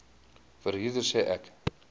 verhuurder sê ek